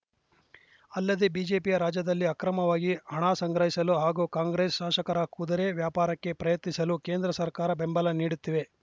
ಅಲ್ಲದೆ ಬಿಜೆಪಿಯ ರಾಜ್ಯದಲ್ಲಿ ಅಕ್ರಮವಾಗಿ ಹಣ ಸಂಗ್ರಹಿಸಲು ಹಾಗೂ ಕಾಂಗ್ರೆಸ್‌ ಶಾಸಕರ ಕುದುರೆ ವ್ಯಾಪಾರಕ್ಕೆ ಪ್ರಯತ್ನಿಸಲು ಕೇಂದ್ರ ಸರ್ಕಾರ ಬೆಂಬಲ ನೀಡುತ್ತಿವೆ